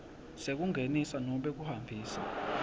sekungenisa nobe kuhambisa